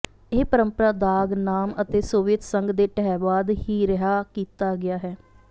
ਇਹ ਪਰੰਪਰਾ ਦਾਗ ਨਾਮ ਅਤੇ ਸੋਵੀਅਤ ਸੰਘ ਦੇ ਢਹਿ ਬਾਅਦ ਹੀ ਰਿਹਾ ਕੀਤਾ ਗਿਆ ਹੈ